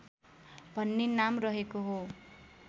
भन्ने नाम रहेको हो